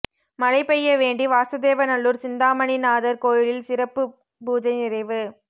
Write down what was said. மழை பெய்ய வேண்டி வாசுதேவநல்லூர் சிந்தாமணிநாதர் கோயிலில் சிறப்பு பூஜை நிறைவு